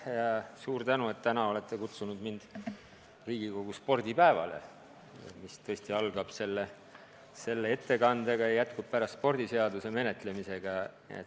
Suur tänu, et täna olete kutsunud mind Riigikogu spordipäevale, mis algab selle ettekandega ja jätkub pärast spordiseaduse menetlemisega.